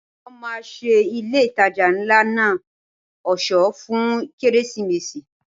Wọ́n máa ṣe ilé ìtajà ńlá náà ọ̀ṣọ́ fún Kérésìmesì.